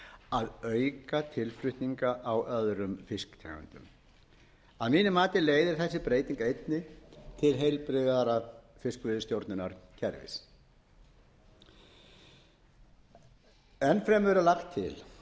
að auka tilflutninga á öðrum fisktegundum að mínu mati leiðir þessi breyting einnig til heilbrigðara fiskveiðistjórnarkerfis enn fremur er lagt til